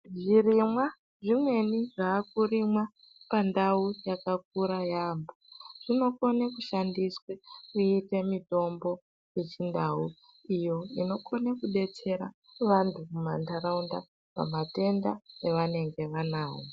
Zvirimwa zvimweni zvakurimwa pandau yakakura yamho zvinokone kushandiswe kuite mitombo yechindau iyo inokone kudetsera vanhu mumanharaunda pamatenda avanenge vanawo.